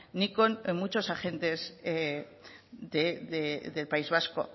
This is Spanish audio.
ni con muchos agentes del país vasco